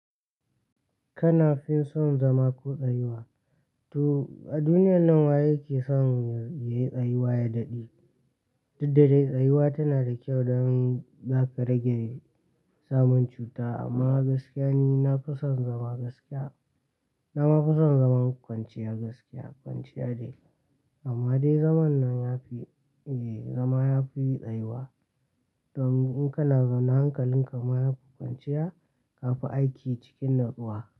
Kana fin son zama ko tsayuwa? To a duniyan nan waye yake son ya yi tsayuwa ya daɗe? Duddade tsayuwa tana da kyau dan zaka rage samun cuta. Amma gaskiya ne, na fi son zama gaskiya. Na ma fi son zaman kwanciya gaskiya kwanciya dai. Amma dai zaman nan yafi, eh zama yafi tsayuwa. Don in kana zaune hankalin ka ma yafi kwanciya, ka fi aiki cikin natsuwa.